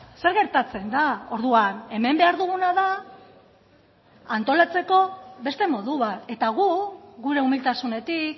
zer gertatzen da orduan hemen behar duguna da antolatzeko beste modu bat eta gu gure umiltasunetik